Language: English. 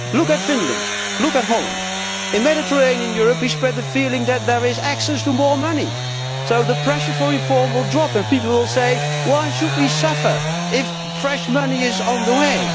Look at Finland and Holland. In Mediterranean Europe we spread the feeling that there is access to more money, so the pressure for reform will drop and people will ask why should we suffer if fresh money is on the way?